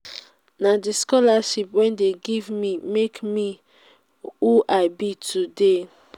na the scholarship wey dey give me make me who i be today